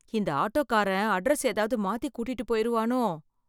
இந்த ஆட்டோக்காரன் அட்ரஸ் ஏதாவது மாத்தி கூட்டிட்டு போயிருவானோ